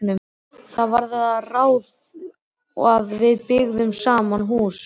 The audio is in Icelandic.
Það varð því að ráði að við byggðum saman hús.